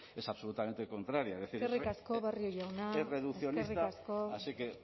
es absolutamente contraria es decir eskerrik asko barrio jauna eskerrik asko es reduccionista así que